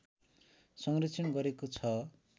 संरक्षण गरेको छ